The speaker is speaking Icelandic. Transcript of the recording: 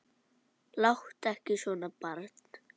Láttu ekki svona barn.